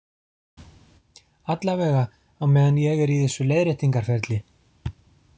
Allavega á meðan ég er í þessu leiðréttingarferli.